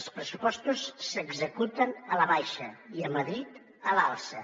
els pressupostos s’executen a la baixa i a madrid a l’alça